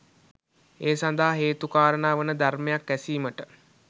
ඒ සඳහා හේතුකාරණා වන ධර්මයක් ඇසීමට